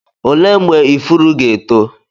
olee mgbe ifuru ga-eto?